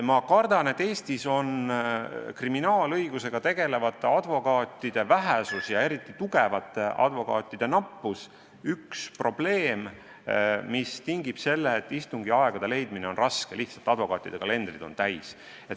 Ma kardan, et Eestis on kriminaalõigusega tegelevate advokaatide vähesus ja eriti just tugevate advokaatide nappus üks probleem, mis tingib selle, et istungiaegade leidmine on raske – lihtsalt advokaatide kalendrid on täis.